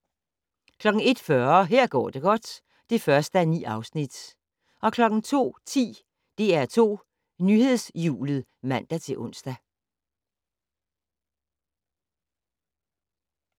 01:40: Her går det godt (1:9) 02:10: DR2 Nyhedshjulet (man-ons)